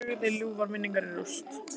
Og lagði ljúfar minningar í rúst.